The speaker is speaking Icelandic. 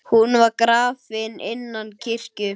Hún var grafin innan kirkju.